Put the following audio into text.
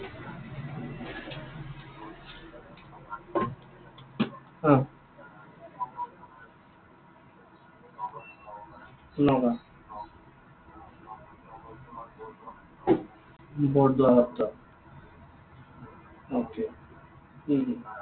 নগাওঁ। বৰদুৱাৰৰ ওচৰত? okay উম হম